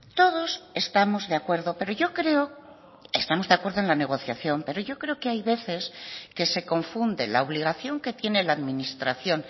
todos estamos de acuerdo pero yo creo estamos de acuerdo en la negociación pero yo creo que hay veces que se confunde la obligación que tiene la administración